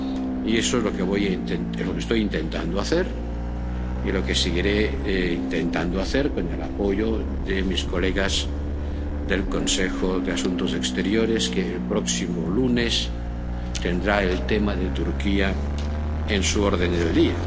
Y eso es lo que estoy intentando hacer y lo que seguiré intentando hacer, con el apoyo de mis colegas del Consejo de Asuntos Exteriores, que el próximo lunes tendrá el tema de Turquía en su orden del día.